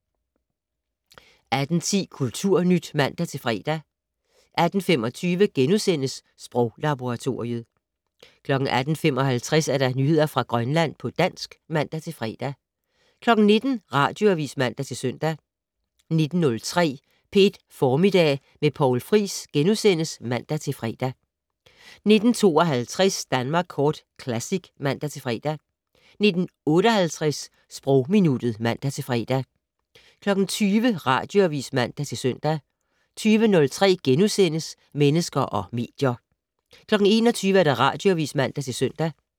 18:10: Kulturnyt (man-fre) 18:25: Sproglaboratoriet * 18:55: Nyheder fra Grønland på dansk (man-fre) 19:00: Radioavis (man-søn) 19:03: P1 Formiddag med Poul Friis *(man-fre) 19:52: Danmark Kort Classic (man-fre) 19:58: Sprogminuttet (man-fre) 20:00: Radioavis (man-søn) 20:03: Mennesker og medier * 21:00: Radioavis (man-søn)